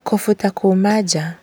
Kũbuta kuma na nja